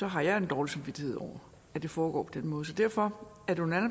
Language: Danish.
har jeg en dårlig samvittighed over at det foregår på den måde så derfor er det under